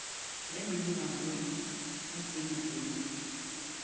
ya minimamo ya putseletšo le